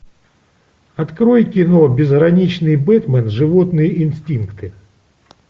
открой кино безграничный бэтман животные инстинкты